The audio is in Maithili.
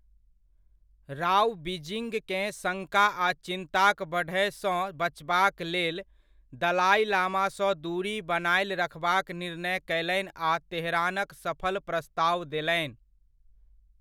राव, बीजिँगकेँ शङ्का आ चिन्ताक बढ़यसँ बचबाक लेल, दलाइ लामासँ दूरी बनायल रखबाक निर्णय कयलनि आ तेहरानक सफल प्रस्ताव देलनि।